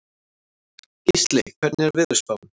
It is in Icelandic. Gísley, hvernig er veðurspáin?